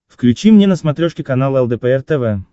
включи мне на смотрешке канал лдпр тв